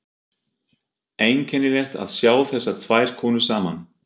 Einkennilegt að sjá þessar tvær konur saman.